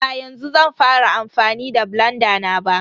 Ba yanzu zan fara amfani da blanda na ba.